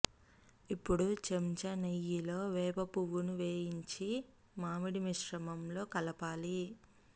ఇప్పుడు చెంచా నెయ్యిలో వేప పువ్వును వేయించి మామిడి మిశ్రమంలో కలపాలి